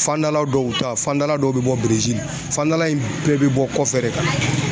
Fandala dɔw ta fandala dɔw be bɔ Berezili fandala in bɛɛ bi bɔ kɔfɛ de ka na